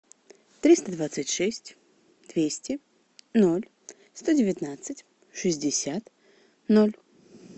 триста двадцать шесть двести ноль сто девятнадцать шестьдесят ноль